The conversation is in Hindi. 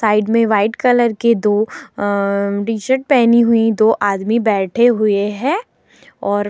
साइड में व्हाइट कलर के दो अम्म टी शर्ट पहनी हुई दो आदमी बैठे हुए हैं और --